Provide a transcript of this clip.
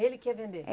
Ele que ia vender?